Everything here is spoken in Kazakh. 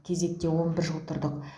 кезекте он бір жыл тұрдық